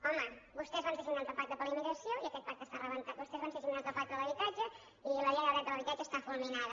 home vostès van ser signants del pacte per a la immigració i aquest pacte està rebentat vostès van ser signants del pacte per a l’habitatge i la llei del dret a l’habitatge està fulminada